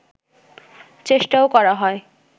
চেষ্টাও করা হয়